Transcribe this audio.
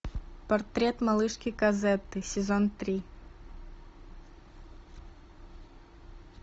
портрет малышки козетты сезон три